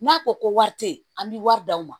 N'a ko ko wari tɛ ye an bɛ wari d'aw ma